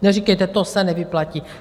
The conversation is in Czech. Neříkejte - to se nevyplatí.